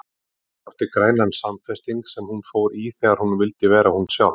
Hún átti grænan samfesting sem hún fór í þegar hún vildi vera hún sjálf.